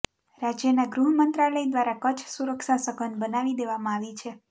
રાજયના ગૃહમંત્રાલય દ્વારા કચ્છ સુરક્ષા સધન બનાવી દેવામાં આવી છે